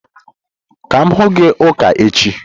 Ka m hụ gi ụka echi!